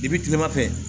I bi tilema fɛ